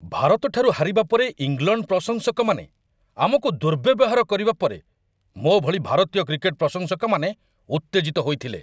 ଭାରତଠାରୁ ହାରିବା ପରେ ଇଂଲଣ୍ଡ ପ୍ରଶଂସକମାନେ ଆମକୁ ଦୁର୍ବ୍ୟବହାର କରିବା ପରେ ମୋ ଭଳି ଭାରତୀୟ କ୍ରିକେଟ୍ ପ୍ରଶଂସକମାନେ ଉତ୍ତେଜିତ ହୋଇଥିଲେ।